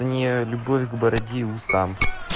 не любовь к бороде и усам